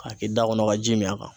K'a kɛ i da kɔnɔ ka ji min a kan.